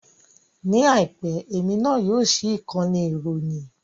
Ní àìpẹ́, èmi náà yóò ṣí ìkànnì ìròyìn